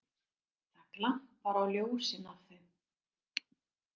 Það glampar á ljósin af þeim.